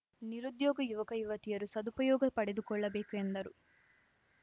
ನಿರುದ್ಯೋಗ ಯುವಕ ಯುವತಿಯರು ಸದುಪಯೋಗ ಪಡೆದುಕೊಳ್ಳಬೇಕು ಎಂದರು